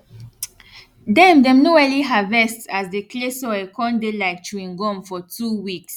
dem dem no early harvest as de clay soil con dey like chewing gum for two weeks